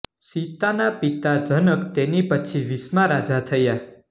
સીતાના પિતા જનક તેની પછી વીસમા રાજા થયા